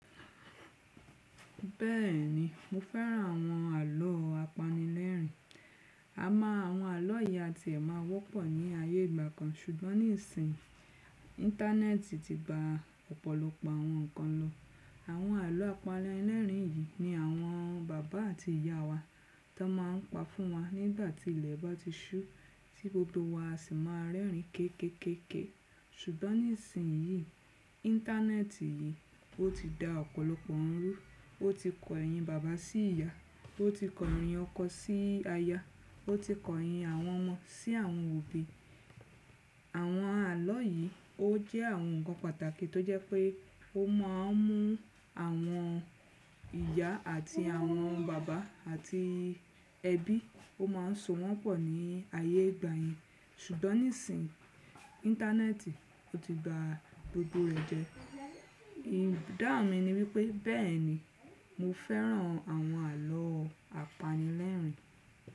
Bẹ́ẹ̀ni, mo fẹ́ràn àwọn àlọ́ apanilẹ́rìn. A mọ àwọn àlọ́ yìí àti ẹ̀ máa wọ́pọ̀ ní ayé ìgbà kan ṣùgbọ́n nísin íńtánẹ́ẹ̀tì ti ba ọ̀pọ̀lọpọ̀ àwọn nǹkan lọ. Àwọn àlọ́ apanilẹ́rìn yìí ni àwọn baba àti ìyá wa tó máa ń pa fún wa nígbà tí ilẹ̀ bá ti ṣú tí gbogbo wa sì máa rẹ́rìn ín kéékéé. Ṣùgbọ́n nísin íńtánẹ́ẹ̀tì yìí ó ti da ọ̀pọ̀lọpọ̀ ohun rú, ó ti kọ ẹ̀yìn baba sí ìyá, ó ti kọ ẹ̀yìn ọkọ sí aya, ó ti kọ ẹ̀yìn àwọn ọmọ sí àwọn òbí. Àwọn àlọ́ yìí ó jẹ́ àwọn nǹkan pàtàkì tó jẹ́ pé ó má a ń mú àwọn ìyá àti àwọn baba àti ẹbí, ó má ń so wọ́n pọ̀ ní ayé ìgbà yẹn. Ṣùgbọ́n nísin ńtánẹ́ẹ̀tì ti gba gbogbo rẹ̀ jẹ. Ìdáhùn mi ni wípé bẹ́ẹ̀ni mo fẹ́ràn àwọn àlọ́ apanilẹ́rìn.